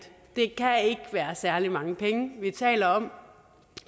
være særlig mange penge vi taler om